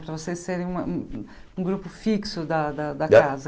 Para vocês serem uma um um grupo fixo da da da casa.